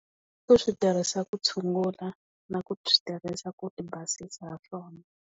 Ku swi tirhisa ku tshungula na ku swi tirhisa ku ti basisa ha swona.